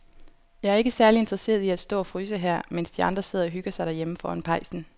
Jeg er ikke særlig interesseret i at stå og fryse her, mens de andre sidder og hygger sig derhjemme foran pejsen.